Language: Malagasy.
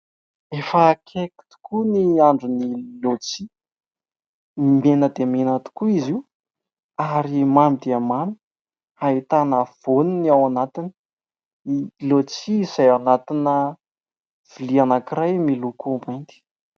Efa akaiky tokoa ny andron'ny laodisia. Mena dia mena tokoa izy io ary mamy dia mamy. Ahitana vaoniny ao anatiny. Ny laodisia izay mipetraka ao anatina vilia anankiray miloko mainty.